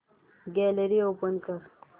gallery open कर